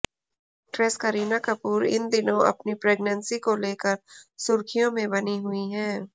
actress Kareena Kapoor इन दिनों अपनी प्रेग्नेंसी को लेकर सुर्खियों में बनी हुई है